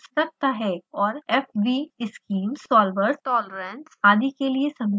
और fvschemes solvers tolerance आदि के लिए समीकरण रखता है